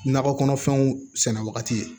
Nakɔ kɔnɔfɛnw sɛnɛ wagati ye